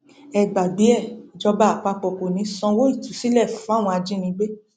ẹ gbàgbé e ìjọba àpapọ kò ní í sanwó ìtúsílẹ fáwọn ajínigbé